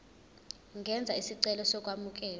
ungenza isicelo sokwamukelwa